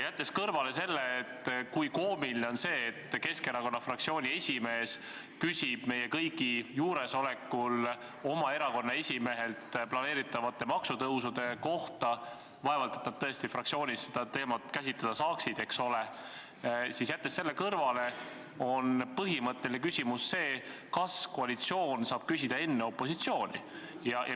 Jättes kõrvale selle, kui koomiline on, et Keskerakonna fraktsiooni esimees küsib meie kõigi juuresolekul oma erakonna esimehelt planeeritavate maksutõusude kohta – vaevalt et nad fraktsioonis seda teemat käsitleda saaksid, eks ole –, on põhimõtteline küsimus see, kas koalitsioon saab küsida enne opositsiooni.